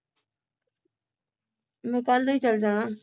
ਮੈਂ ਕੱਲ ਨੂੰ ਹੀ ਚਲ ਜਾਣਾ